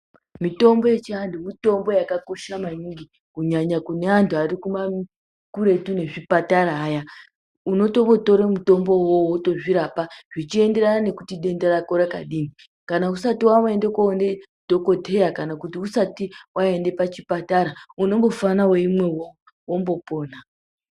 Mitombo yechiantu mitombo yakakosha maningi ,kunyanya kune antu ari kuretu nezvipatara aya, unototora mutombo uwowo wotozvirapa zvichienderana nokuti denda rako rakadini. Kana usati waenda kundoone dhokodheya kana kuti usati waende pachipatara unombofana weyimwa uwowo wombopona.